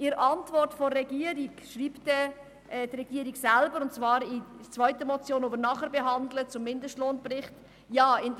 In der Antwort schreibt die Regierung selber – und zwar zur zweiten Motion betreffend den Mindestlohnbericht, die wir nachher behandeln: